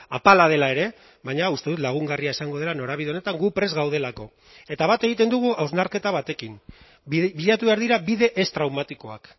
apala dela ere baina uste dut lagungarria izango dela norabide honetan gu prest gaudelako eta bat egiten dugu hausnarketa batekin bilatu behar dira bide ez traumatikoak